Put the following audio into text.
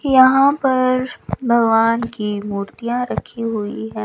यहां पर भगवान की मूर्तियां रखी हुई है।